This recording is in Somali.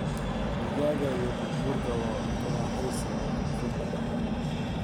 Digaag iyo bur burku waa cunto raaxaysi oo koonfurta ah.